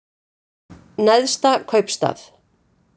Neðsta kaupstað